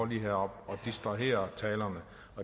herop og distraherer talerne